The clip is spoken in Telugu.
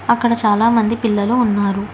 అక్కడ చాలా మంది పిల్లలు ఉన్నారు.